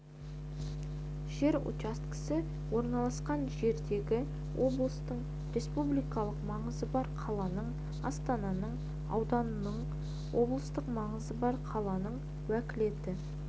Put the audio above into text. жер учаскесі орналасқан жердегі облыстың республикалық маңызы бар қаланың астананың ауданның облыстық маңызы бар қаланың уәкілетті